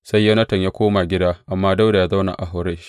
Sai Yonatan ya koma gida amma Dawuda ya zauna Horesh.